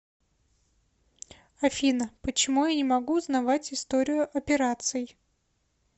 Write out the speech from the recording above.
афина почему я не могу узнавать историю операций